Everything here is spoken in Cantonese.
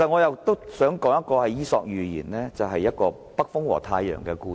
我想引用《伊索寓言》中"北風與太陽"的故事。